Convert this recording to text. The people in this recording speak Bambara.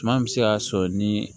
Suma bɛ se k'a sɔrɔ ni